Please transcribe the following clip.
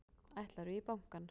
Ætlarðu í bankann?